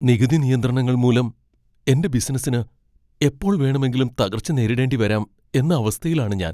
നികുതി നിയന്ത്രണങ്ങൾ മൂലം എന്റെ ബിസിനസ്സിന് എപ്പോൾ വേണമെങ്കിലും തകർച്ച നേരിടേണ്ടി വരാം എന്ന അവസ്ഥയിലാണ് ഞാൻ.